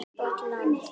Gott land.